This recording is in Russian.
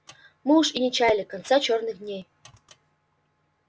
мы уж и не чаяли конца черных дней